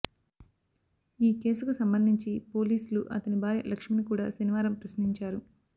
ఈ కేసుకు సంబంధించి పోలీసులు అతని భార్య లక్ష్మిని కూడా శనివారం ప్రశ్నించారు